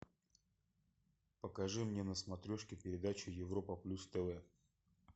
покажи мне на смотрешке передачу европа плюс тв